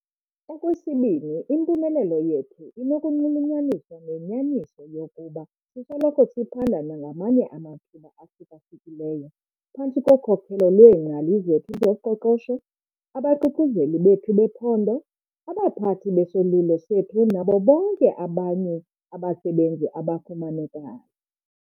Okwesibini, impumelelo yethu inokunxulunyaniswa nenyaniso yokuba sisoloko siphanda nangamanye amathuba ahluka-hlukileyo, phantsi kokhokelo lweengcali zethu zoqoqosho, abaququzeleli bethu bephondo, abaphathi besolulo sethu nabo bonke abanye abasebenzi abafumanekayo.